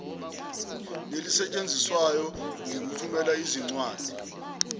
nelisetshenziswayo ngelokuthumela izinwadi